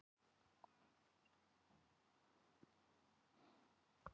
Breki: Og, og krakkarnir spenntir að sjá jólasveinana vera að taka ruslið?